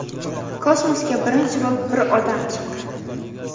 Kosmosga birinchi bo‘lib bir odam chiqqan.